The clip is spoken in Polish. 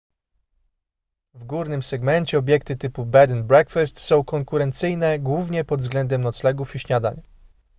w górnym segmencie obiekty typu bed&breakfast są konkurencyjne głównie pod względem noclegów i śniadań